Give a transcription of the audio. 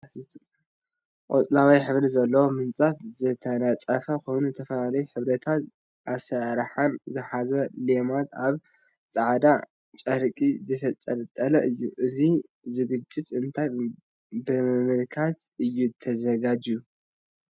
ቆፅላዋይ ሕብሪ ዘለዎ ምንፃፍ ዝተነፀፎ ኮይኑ ዝተፈላለዩ ሕብርታትን ኣሰራርሓን ዝሓዘ ሌማትን ኣብ ፃዕዳ ጠርቂ ዝተጠንጠለ እዩ። እዙይ ዝግጅት እንታይ ብምምልካት እዩ ተዘጋጅዩ?